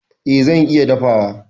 E, zan iya dafawa.